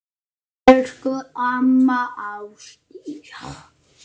Elsku amma Ásdís mín.